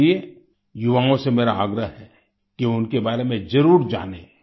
इसलिए युवाओं से मेरा आग्रह है कि वे उनके बारे में जरूर जानें